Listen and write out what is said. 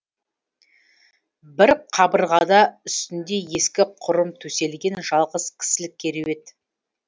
бір қабырғада үстінде ескі құрым төселген жалғыз кісілік кереует